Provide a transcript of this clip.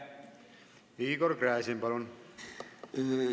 Igor Gräzin, palun!